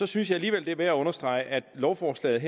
synes jeg alligevel det er værd at understrege at lovforslaget